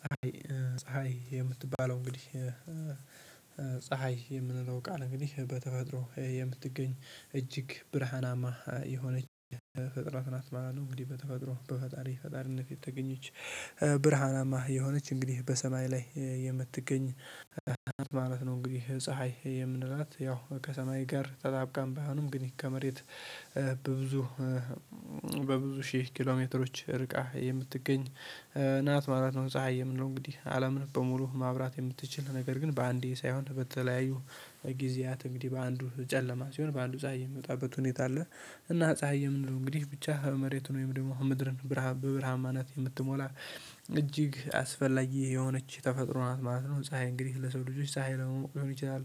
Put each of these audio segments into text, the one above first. ፀሀይ ፀሀይ የምትባለው እንግዲህ ፀሀይ የምንለው ቃል እንግዲህ በተፈጥሮ የምትገኝ እጅግ ብርሃናማ የሆነች ፍጥረት ናት ማለት እንግዲህ በተፈጥሮ በፈጣሪ ፈጣሪነት የተገኘች ብርሃናማ የሆነች እንግዲህ በሰማይ ላይ የምትገኝ ማለት ነው። እንግዲህ ፀሀይ የምንላት ያው ከሰማይ ጋር ተጣብቃም ባይሆንም ግን ይሄ ከመሬት በብዙ በብዙ ሺህ ኪሎሜትሮች ርቃ የምትገኝ ናት ማለት ነው። ፀሀይ የምንለው እንግዲህ አለምን በሙሉ ማብራት የምትችል ነገር ግን በአንዴ ሳይሆን በተለያዩ ጊዜያት እንግዲህ በአንዱ ጨለማ ሲሆን በአንዱ ፀሀይ የሚወጣበት ሁኔታ አለ። እና ፀሀይ የምንለው እንግዲህ ብቻ መሬቱን ወይም ደግሞ ምድርን ብርሃም በብርሃማነት የምትሞላ እጅግ አስፈላጊ የሆነች ተፈጥሮ ናት ማለት ነው። ፀሀይ እንግዲህ ለሰው ልጆች ፀሀይ ለመሆን ሊሆን ይችላል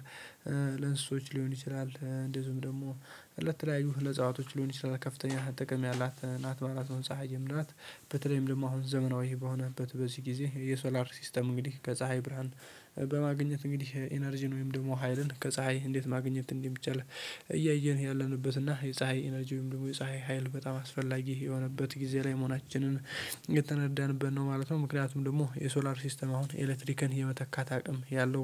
ይለእንስሶች ሊሆን ይችላል እንደዚሁም ደግሞ ለተለያዩ ለዕጸዋቶች ሊሆን ይችላል ከፍተኛ ጥቅም ያላት ናት ማለት ፀሀይ የምንላት ናት። በተለይም ደግሞ አሁን ዘመናዊ በሆነበት በዚህ ጊዜ የሶላር ሲስተም እንግዲህ ከፀሀይ ብርሃን በማግኘት እንግዲህ ኢነርጂን ወይም ደግሞ ሀይልን ከፀሀይ እንዴት ማግኘት እንደሚቻል? እያየን ያለንበት እና የፀሀይ ኤነርጂውም ወይም ደግሞ የሚሉ የፀሀይ ሀይል በጣም አስፈላጊ የሆነበት ጊዜ ላይ መሆናችንን ነው ማለት ነው። ምክንያቱም ደግሞ የሶላር ሲስተም አሁን ኤሌክትሪክን የመተካት አቅም ያለው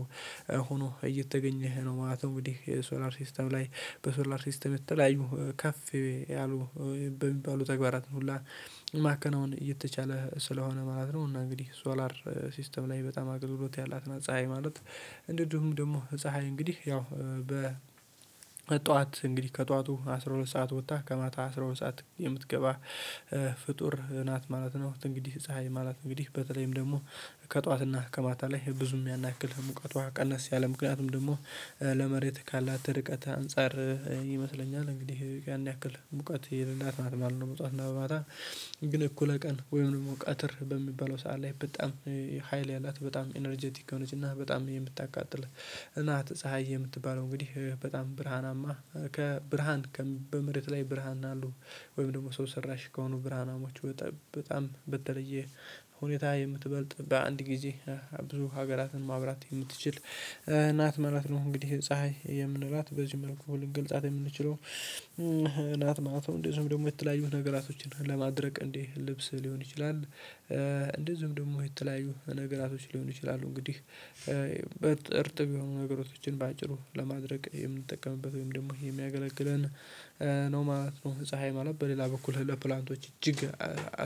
ሆኖ እየተገኘህ ነው። ማለት እንግዲህ የሶላር ሲስተም ላይ በሶላር ሲስተም የተለያዩ ከፍ ያሉ በሚባሉ ተግባራት ሁሉ ማከናወን እየተቻለ ስለሆነ ማለት ነው። እና እንግዲህ ሶላር ሲስተም ላይ በጣም አገልግሎት ያላት ነው። ፀሀይ ማለት እንደውም ደግሞ ፀሀይ እንግዲህ ያው በ ጠዋት እንግዲህ ከጠዋቱ አስራ ሁለት ሰዓት ወጥታ ከማታ አስራ ሁለት ሰዓት የምትገባ ፍጡር ናት ማለት ነው። እንግዲህ ፀሀይ ማለት እንግዲህ በተለይም ደግሞ ከጧትና ከማታ ላይ ብዙም ያን ያክል ሙቀቷ ቀነስ ያለ ምክንያቱም ደግሞ ለመሬት ካላት ርቀት አንፃር ይመስለኛል እንግዲህ ያን ያክል ሙቀት የሌላት ማለት ነው። በጠዋትና በማታ ግን እኩለ ቀን ወይም ደግሞ ቀትር በሚባለው ሰዓት ላይ በጣም ሀይል ያላት በጣም ኢነርጀቲክ የሆነች እና በጣም የምታቃጥልህ ናት። ፀሀይ የምትባለው እንግዲህ በጣም ብርሃናማ ከብርሃን በመሬት ላይ ብርሃን አሉ ወይም ደግሞ ሰው ሰራሽ ከሆኑ ብርሃናውያኖች በጣም በተለየ ሁኔታ የምትበልጥ በአንድ ጊዜ ብዙ ሀገራትን ማብራት የምትችል ናት ማለት ነው። እንግዲህ ፀሀይ የምንላት በዚህ መልኩ ልንገልጻት የምንችለው ናት። ማለት እንደዚሁም ደግሞ የተለያዩ ነገራቶችን ለማድረግ እንዲህ ልብስ ሊሆን ይችላል። እንደዚሁም ደግሞ የተለያዩ ነገራቶች ሊሆኑ ይችላሉ እንግዲህ እርጥብ የሆኑ ነገሮችን በአጭሩ ለማድረቅ የምንጠቀምበት ወይም ደግሞ የሚያገለግለን ነው ማለት ነው። ፀሀይ ማለት በሌላ በኩል ለፕላንቶች እጅግ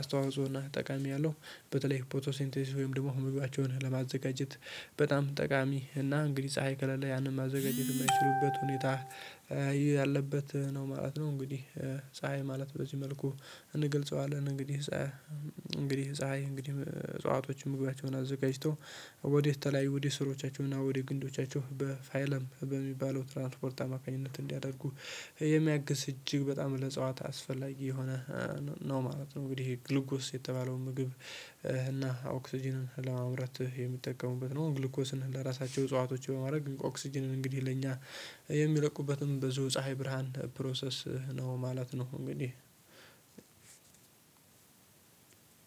አስተዋጽኦና ጠቃሚ ያለው በተለይ ፖቶሲንቴሲስ ወይም ደግሞ ምግባቸውን ለማዘጋጀት በጣም ጠቃሚ እና እንግዲህ ፀሀይ ከለሌ ያንን ማዘጋጀት የማይችሉበት ሁኔታ ያለበት ነው ማለት ነው። እንግዲህ ፀሀይ ማለት በዚህ መልኩ እንገልፀዋለን እንግዲህ ፀሀይ እንግዲህ ፀሀይ እንግዲህ እጽዋቶችን ምግባቸውን አዘጋጅቶ ወደ ተለያዩ ወደ ስሮቻቸው እና ወደ ግንዶቻቸው በፋይልም በሚባለው ትራንስፖርት አማካኝነት እንዲያደርጉ የሚያግዝ እጅግ በጣም ለዕጸዋት አስፈላጊ የሆነ ነው ማለት ነው። እንግዲህ ይሄ ግልጎስ የተባለው ምግብ እና ኦክስጅንን ለማምረት የሚጠቀሙበት ነው ግሉኮስን ለራሳቸው እጽዋቶች በማድረግ ኦክስጅንን እንግዲህ ለእኛ የሚለቁበትን ብዙ ፀሀይ ብርሃን ፕሮሰስ ነው ማለት ነው። እንግዲህ